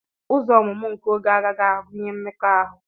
Ụzọ ọmụmụ nke oge a agaghị agụnye mmekọahụ.